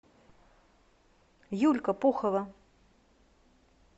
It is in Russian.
юлька пухова